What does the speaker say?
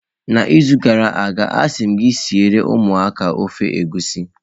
N'izu gara aga, asị m gị ka ị siere ụmụaka ofe egusi